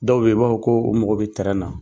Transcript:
Dɔw be yen u b'a fɔ ko u mago bɛ na .